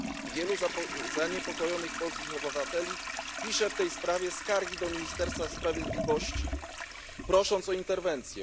Wielu zaniepokojonych polskich obywateli pisze w tej sprawie skargi do Ministerstwa Sprawiedliwości, prosząc o interwencję.